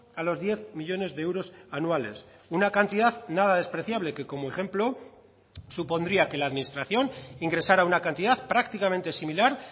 a los diez millónes de euros anuales una cantidad nada despreciable que como ejemplo supondría que la administración ingresara una cantidad prácticamente similar